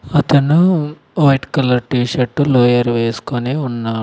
అతను white colour T shirt lower వేసుకొనే ఉన్నా--